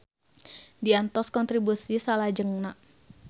Diantos kontribusi salajengna.